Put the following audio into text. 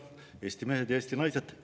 Eesti mehed, Eesti naised!